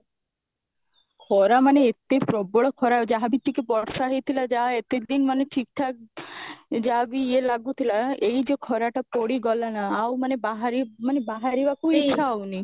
ଖରା ମାନେ ଏତେ ପ୍ରବଳ ଖରା ଯାହାବି ଟିକେ ବର୍ଷା ହେଇଥିଲା ଯାହା ଏତିକି ଦିନ ମାନେ ଠିକ୍ ଠାକ ଯାହାବି ଇଏ ଲାଗୁଥିଲା ଏଇ ଯଉ ଖରାଟା ପଡିଗଲା ନା ଆଉ ମାନେ ବାହାରି ମାନେ ବାହାରିବାକୁ ହିଁ ଇଛା ହଉନି